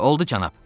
Oldu cənab.